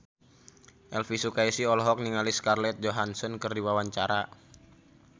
Elvy Sukaesih olohok ningali Scarlett Johansson keur diwawancara